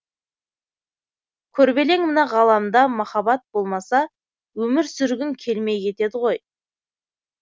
күрбелең мына ғаламда махаббат болмаса өмір сүргің келмей кетеді ғой